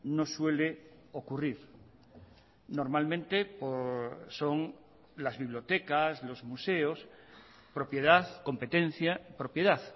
no suele ocurrir normalmente son las bibliotecas los museos propiedad competencia propiedad